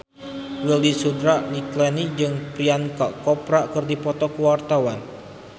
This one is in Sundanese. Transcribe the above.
Widy Soediro Nichlany jeung Priyanka Chopra keur dipoto ku wartawan